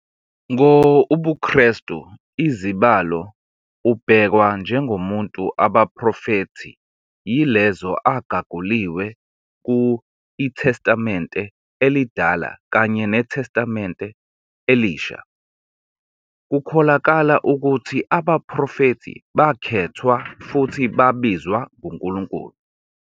Ngo ubuKristu izibalo ubhekwa njengomuntu abaprofethi yilezo agaguliwe ku iTestamente Elidala kanye neTestamente Elisha. Kukholakala ukuthi abaprofethi bakhethwa futhi babizwa nguNkulunkulu.